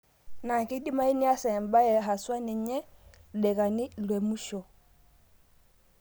Na keidimayu niasa embaye haswa ninye ildaikani lemusho